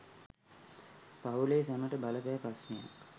පවු‍ලේ සැමට බලපෑ ප්‍රශ්නයක්